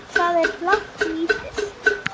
Hvað er blátt lítið?